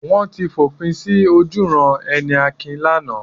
Wọ́n ti fòpin sí ojúuran-ẹni Akin lánàá.